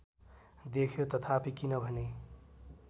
देख्यो तथापि किनभने